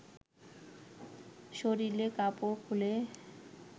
শরীরের কাপড় খুলে